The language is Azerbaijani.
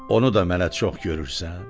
Onu da mənə çox görürsən.